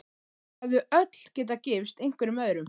Þau hefðu öll getað gifst einhverjum öðrum.